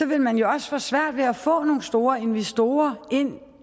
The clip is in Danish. vil man jo også få svært ved at få nogle store investorer ind